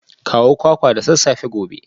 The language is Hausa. Kawo kwakwa da sassafe gobe